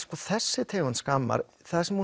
þessi tegund skammar það sem